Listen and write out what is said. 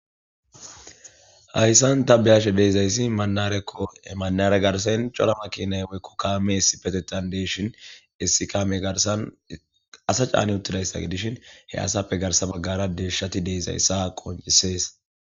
hayssan ta beyashe deezayssi manarekko emaare garsayn cora makinay oykkokkaamee sipetetan deeshin issikame garsan asa caani uttidayssage dishin he asappe garsa baggara deeshati deezayssa qoncisees